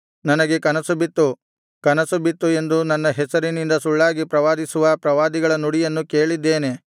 ನನಗೆ ಕನಸು ಬಿತ್ತು ಕನಸು ಬಿತ್ತು ಎಂದು ನನ್ನ ಹೆಸರಿನಿಂದ ಸುಳ್ಳಾಗಿ ಪ್ರವಾದಿಸುವ ಪ್ರವಾದಿಗಳ ನುಡಿಯನ್ನು ಕೇಳಿದ್ದೇನೆ